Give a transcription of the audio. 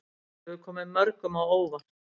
Þetta hefur komið mörgum á óvart